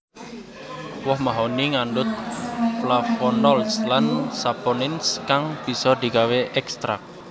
Woh mahoni ngandhut Flavonolds lan Saponins kang bisa digawé ékstrak